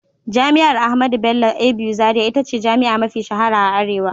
Jami'ar Ahmadu Bello (ABU) Zaria ita ce jami'a mafi shahara a arewa.